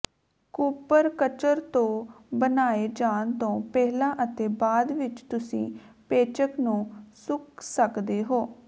ਕੂਪਰਕਚਰ ਤੋਂ ਬਣਾਏ ਜਾਣ ਤੋਂ ਪਹਿਲਾਂ ਅਤੇ ਬਾਅਦ ਵਿੱਚ ਤੁਸੀਂ ਪੇਚਕ ਨੂੰ ਸੁੱਕ ਸਕਦੇ ਹੋ